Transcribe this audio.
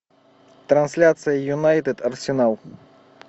трансляция юнайтед арсенал